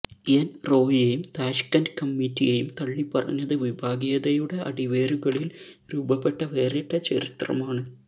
എന് റോയിയെയും താഷ്ക്കന്റ് കമ്മിറ്റിയെയും തള്ളിപ്പറഞ്ഞത് വിഭാഗീയതയുടെ അടിവേരുകളില് രൂപപ്പെട്ട വേറിട്ട ചരിത്രമാണ്